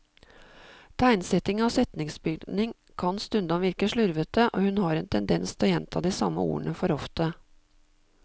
Tegnsetting og setningsbygning kan stundom virke slurvete, og hun har en tendens til å gjenta de samme ordene for ofte.